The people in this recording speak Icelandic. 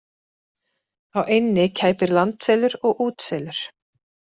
Á eynni kæpir landselur og útselur.